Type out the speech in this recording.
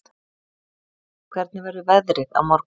Koggi, hvernig verður veðrið á morgun?